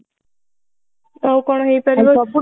ଆଊ କଣ ହେଇପାରିବ ଆଉ